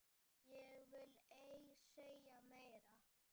Ég vil ei segja meira.